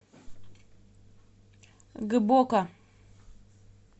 гбоко